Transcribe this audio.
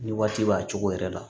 Ni waati b'a cogo yɛrɛ la